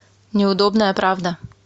неудобная правда